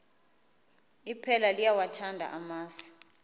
iphela liyawathanda amasi